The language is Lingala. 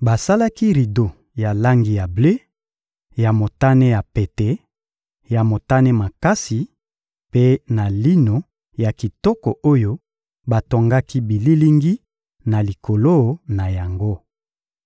Basalaki rido ya langi ya ble, ya motane ya pete, ya motane makasi mpe na lino ya kitoko oyo batongaki bililingi na likolo na yango.